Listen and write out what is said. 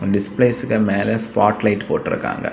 டிஸ்பிலேஸ்க்கு மேல spot light போட்டிருகாங்க.